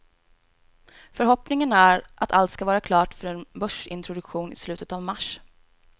Förhoppningen är att allt ska vara klart för en börsintroduktion i slutet av mars.